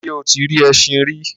ṣé o ti rí ẹṣin rí?